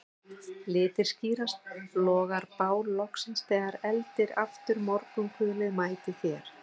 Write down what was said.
Litir skýrast, logar bál loksins þegar eldir aftur morgunkulið mætir þér